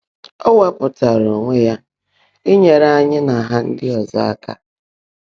Ó wèepụ́táárá óńwé yá ínyèèré ányị́ nà Há ndị́ ọ́zọ́ áká.